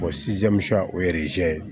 o ye ye